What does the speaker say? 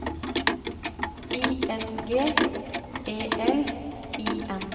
I N G E L I N